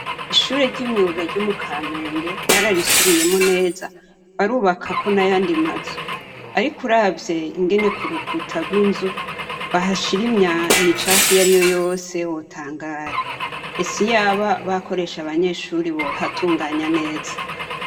Ishure ry'imyuga ryo mu Kamenge bararisubiyemwo neza barubakako n;ayandi mazu. Ariko uravye ngene ku rukuta gw'inzu bahashira imicafu iyariyo yose wotangara. Ese iyaba bakoresha abanyeshure bohatunganya neza.